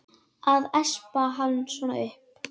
Að espa hann svona upp!